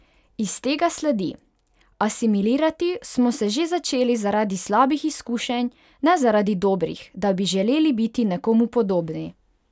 Iz tega sledi: "Asimilirati smo se začeli zaradi slabih izkušenj, ne zaradi dobrih, da bi želeli biti nekomu podobni!